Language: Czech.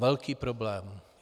Velký problém.